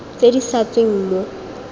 tse di sa tsweng mo